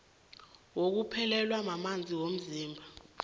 wokuphelelwa mamanzi womzimba